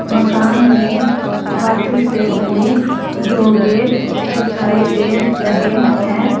मकान में धातु से बने दो गेट दिखाई दे रहे हैं।